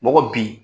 N ko bi